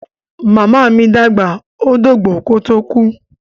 Màmá mi dàgbà, ó dògbó kó tó kú.